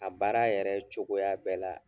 A baara yɛrɛ cogoya bɛɛ la